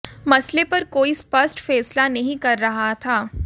मसले पर कोई स्पष्ट फैसला नहीं कर रहा था